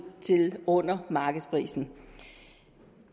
til under markedsprisen